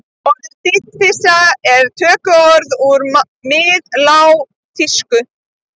Orðið dýflissa er tökuorð úr miðlágþýsku.